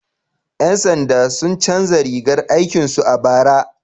Yan sanda sun canza rigar aikin su a bara?